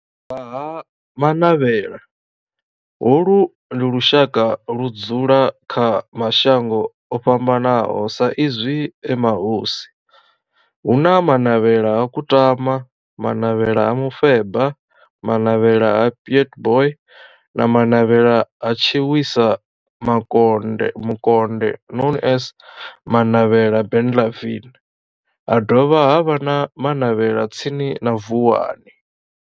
Vha ha Manavhela, holu ndi lushaka ludzula kha mashango ofhambanaho sa izwi e mahosi, hu na Manavhela ha Kutama, Manavhela ha Mufeba, Manavhela ha Pietboi na Manavhela ha Tshiwisa Mukonde known as Manavhela Benlavin, ha dovha havha na Manavhela tsini na Vuwani.